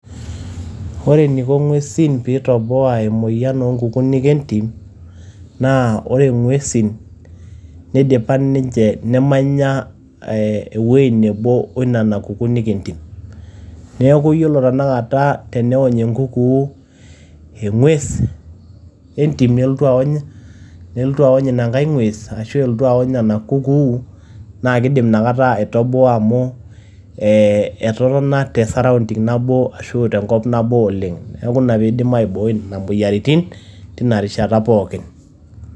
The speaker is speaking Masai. Ore eniko ng`uesin pee itoboa emoyian oo nkukunik entim, naa ore ng`uesin neidipa ninche nemanya ewueji nebo o nena kukunik entim. Niaku yiolo tenakata tenewony enkukuu eng`ues entim nelotu awony, nelotu awony ina nkae ng`ues arashu elotu awony ina kukuu naa kidim inakata aitoboa amu ee etotona te sorrounding nabo ashu tenkop nabo oleng. Niaku ina pee eidim aibooi nena moyiaritin teina rishata pookin.